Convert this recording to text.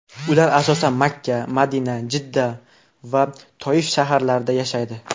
Ular asosan Makka, Madina, Jidda va Toif shaharlarida yashaydi.